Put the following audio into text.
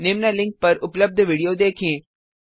निम्न लिंक पर उपलब्ध विडियो देखें